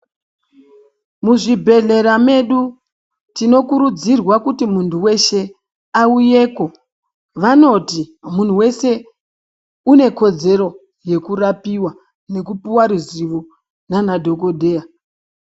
Muzvibhedhlera medu, tinokurudzirwa kuti muntu weshe, awuyeko. Vanoti, munhu wese unekodzero yekurapiwa nekupiwa ruzivo nanadhokodheya.